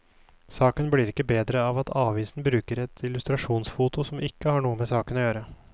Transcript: Saken blir ikke bedre av at avisen bruker et illustrasjonsfoto som ikke har noe med saken å gjøre.